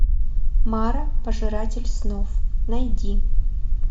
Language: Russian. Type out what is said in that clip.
мара пожиратель снов найди